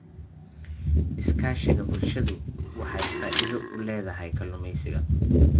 Iskaashiga bulshadu waxay faa'iido u leedahay kalluumeysiga.